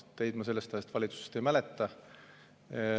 Teid ma sellest ajast valitsuses ei mäleta.